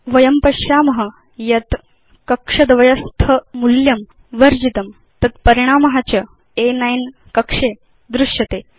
वयं पश्याम यत् कक्ष द्वयस्थ मूल्यं वर्जितं तत् परिणाम च अ9 क्रमाङ्क कक्षे दृश्यते